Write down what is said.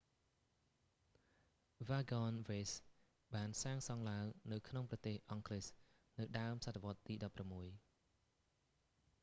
វ៉ាហ្គនវេស៍ wagonways បានសាងសង់ឡើងនៅក្នុងប្រទេសអង់គ្លេស នៅដើមសតវត្សទី 16